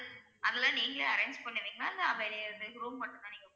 அதெல்லாம் நீங்களே arrange பண்ணுவீங்களா இல்ல வெளில இருந்து room மட்டும் தான் நீங்க